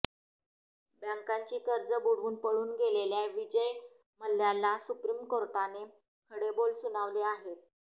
बँकांची कर्ज बुडवून पळून गेलेल्या विजय मल्ल्याला सुप्रीम कोर्टाने खडे बोल सुनावले आहेत